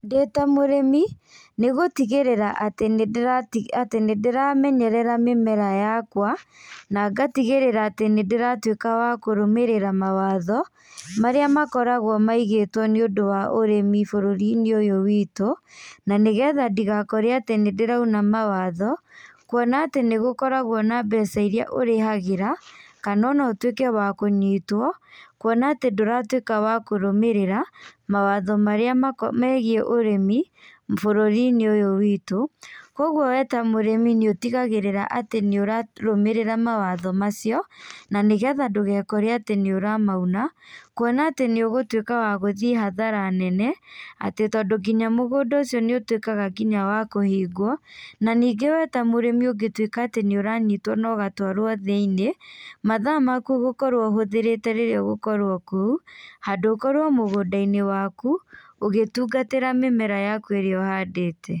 Ndĩ ta mũrĩmi nĩ gũtigĩrĩra atĩ nĩ ndĩramenyerera mĩmera yakwa. Na ngatigĩrĩra atĩ nĩ ndĩratuĩka wa kũrũmĩrĩra mawatho marĩa makoragwo maigĩtwo nĩ ũndu wa ũrĩmi bũrũri-inĩ ũyũ witũ. Na nĩ getha ndigakore atĩ nĩ ndĩrauna mawatho, kuona atĩ nĩ kũrĩ mbeca iria ũrĩhagĩra kana ũtuike wa kũnyitwo. Kuona atĩ ndũrakorwo ũkĩrũgamĩrĩra mawatho marĩa megiĩ ũrĩmi bũrũri-inĩ ũyũ witũ. Koguo we ta mũrĩmi nĩ ũtigagĩrĩraga atĩ nĩ ũrarũmĩrĩra mawatho macio. Na nĩ getha ndũgekore atĩ nĩ ũramauna, kuona atĩ nĩ ũgũgũtuĩka wa gũthiĩ hathara nene atĩ tondũ nginya mũgũnda ũcio nĩ ũtuíkĩaga nginya wa kũhingwo. Na ningĩ we ta mũrĩmi ũngĩtuĩka atĩ nĩ ũranyitwo na ũgatũarwo thĩinĩ, mathaa maku ũgũkorwo ũhũthirĩte rĩrĩa ũgũkorwo kũu handũ ũkorwo mũgũnda-inĩ waku ũgĩtungatĩra mĩmera yaku ĩrĩa ũhandĩte.